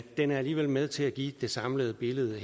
den er alligevel med til at give det samlede billede